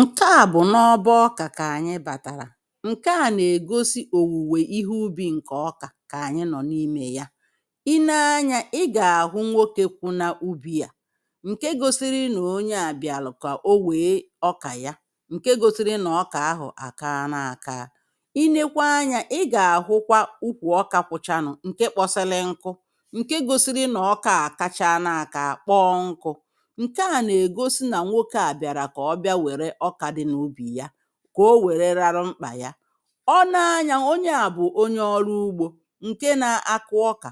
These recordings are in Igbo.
Ǹke à bụ̀ n’ọbọ ọkà kà ànyị bàtàrà. Ǹke à nà-ègosi òwùwè ihe ubi̇ ǹkè ọkà kà ànyị nọ̀ n’imė ya. Ị̀ nee anyȧ i gà-àhụ nwokė kwụ n’ubì à, ǹke gosiri nà onye à biàlụ̀ kà o wèe ọkà ya, ǹke gosiri nà ọkà ahụ̀ àkà na-àkà. Ị nekwa anyȧ ị gà-àhụkwa ụkwụ ọkà kwụchanụ ǹke kpọsili nku, ǹke gosiri nọ̀ ọkà à kacha na-àkà kpọọ nku̇, nkè á nà egosi nà nwoke à biàrà kà ọ bịa wère ọkà dị n’ubì ya, kà o wère rarụ mkpà ya. Ọ née anyȧ onye à bụ̀ onye ọrụ ugbȯ ǹke na-akụ ọkà,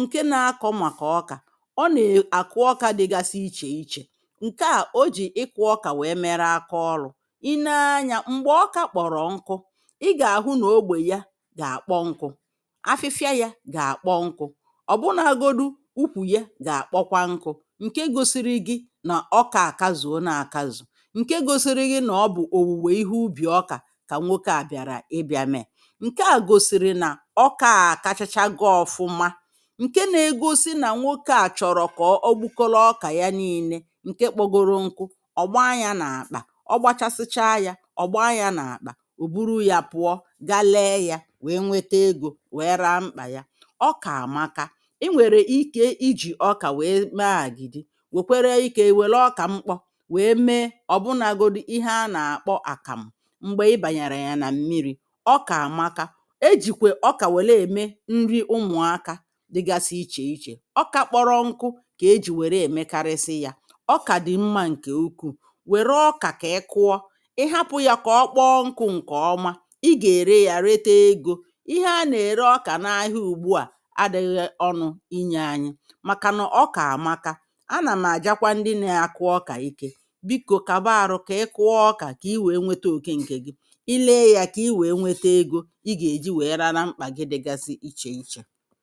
nke na-akọ màkà ọkà, ọ nà è àkụ ọkà dịgasị ichè ichè, nke à o jì ịkụ̇ ọkà wee mere aka ọlụ̇. Ì nee anyȧ m̀gbè ọkà kpọ̀rọ̀ ọkụ ị gà-àhụ nà ogbè ya gà-àkpọ nkụ̇, àfịfịa yȧ gà-àkpọ nkụ̇, na ọ̀ bụ nȧ agodu ukwù ya gà-àkpọkwa nkụ̇, nke gosiri gi̇ nà ọkà akazue na-akazu, ǹke gosiri gị nà ọ bụ̀ òwùwè ihe ubì ọkà kà nwokė à bị̀àrà ịbịà mẹ̀ ǹke à gosiri nà ọkȧ à kachacha gọ ọfụma, ǹke nȧ-egosi nà nwokė à chọ̀rọ̀ kà ọ ọgbụkọlọ ọkà ya n'ii̇nė ǹke kpọgọrọ nkụ ọ̀gba ya na akpa ogbachasịchaa yȧ ọ̀gba yȧ n’àkpà ò buru yȧ pụọ gaa lẹẹ̇ ya wèe nwete egȯ wèe raa mkpà ya, ọkà àmaka i nwèrè ike ijì ọkà wèe mee àgìdì wèkwere ike iwèle ọkà mkpọ wee mee ọ̀ bụnagodu ihe anà-àkpọ àkàmụ ṁgbè ịbànyàrà yà nà mmiri̇, ọkà àmaka ejìkwè ọkà wèlè ème nri ụmụ̀akȧ dịgasị ichè ichè ọkà kpọrọ nkụ kà ejì wère èmekarịsị yȧ ọkà dị̀ mmȧ ǹkè ukwuù wère ọkà kà ị kụọ ị hapụ̇ yà kà ọkpọọ nkụ̇ ǹkè ọma ị gà-ère yȧ rete egȯ ihe anà-ère ọkà n’ahịa ùgbu à adị̇ghị̇ ọnụ̇ inyė anyị màkà na ọkà àmaka a nà m àjàkwa ndị na-akụ ọkà ike. Biko kaba arụ ka ị kụọ ọkà ka i wee nweta oke nke gị, ịlė yȧ kà ị wèe nwete egȯ ị gà-èji wèe rara mkpà gị dịgasị ichè ichè.